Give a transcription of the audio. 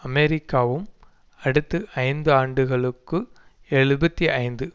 அமெரிக்காவும் அடுத்து ஐந்து ஆண்டுகளுக்கு எழுபத்தி ஐந்து